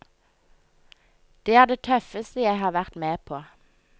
Det er det tøffeste jeg har vært med på.